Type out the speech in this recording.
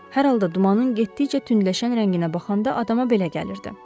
Hər halda dumanın getdikcə tündləşən rənginə baxanda adama belə gəlirdi.